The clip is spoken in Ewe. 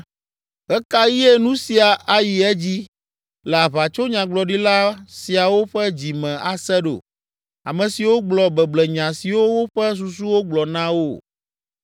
Ɣe ka ɣie nu sia ayi edzi le aʋatsonyagbɔɖila siawo ƒe dzi me ase ɖo, ame siwo gblɔ beblenya siwo woƒe susuwo gblɔ na wo?